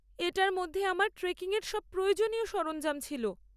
এটার মধ্যে আমার ট্রেকিং এর সব প্রয়োজনীয় সরঞ্জাম ছিল।